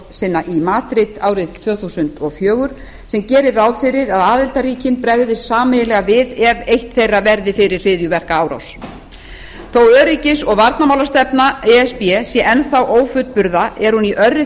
hryðjuverkaárásina í madrid árið tvö þúsund og fjögur sem gerir ráð fyrir að aðildarríkin bregðist sameiginlega við ef eitt þetta verður fyrir hryðjuverkaárás þá öryggis og varnarmálastefna e s b sé enn þá ófullburða er hún í örri